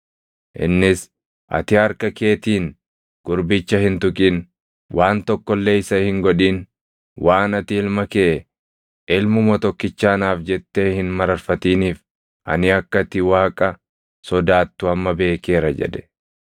Innis, “Ati harka keetiin gurbicha hin tuqin; waan tokko illee isa hin godhin. Waan ati ilma kee, ilmuma tokkicha anaaf jettee hin mararfatiniif, ani akka ati Waaqa sodaattu amma beekeera” jedhe.